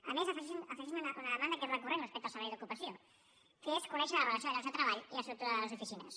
a més afegeixen una demanda que és recurrent respecte al servei d’ocupació que és conèixer la relació de llocs de treball i estructura de les oficines